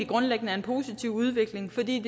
grundlæggende en positiv udvikling fordi